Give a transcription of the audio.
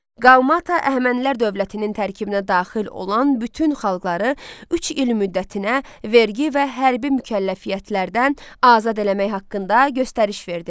Qaumata Əhəmənilər dövlətinin tərkibinə daxil olan bütün xalqları üç il müddətinə vergi və hərbi mükəlləfiyyətlərdən azad eləmək haqqında göstəriş verdi.